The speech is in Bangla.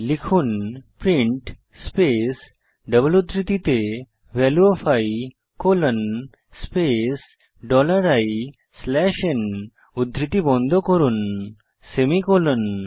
লিখুন প্রিন্ট স্পেস ডবল উদ্ধৃতিতে value of i colon space dollar i slash n উদ্ধৃতি বন্ধ করুন সেমিকোলন